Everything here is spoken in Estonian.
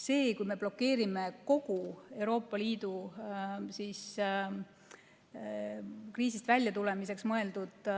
See, kui me blokeerime kogu Euroopa Liidu kriisist väljatulemiseks mõeldud